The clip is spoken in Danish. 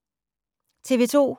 TV 2